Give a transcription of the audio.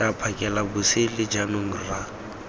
tla phakela bosele jaanong rra